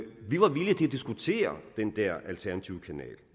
diskutere den der alternative kanal